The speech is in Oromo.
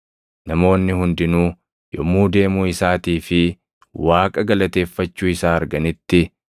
Namoonni hundinuu yommuu deemuu isaatii fi Waaqa galateeffachuu isaa arganitti,